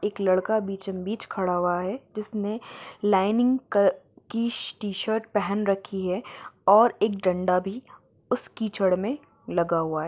एक लड़का बीचो-बीच खड़ा हुआ है जिसने लाइनिंग क-की टी-शर्ट पहन रखी है और एक डंडा भी उस कीचड़ मे लगा हुआ है।